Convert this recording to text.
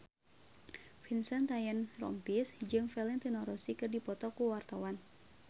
Vincent Ryan Rompies jeung Valentino Rossi keur dipoto ku wartawan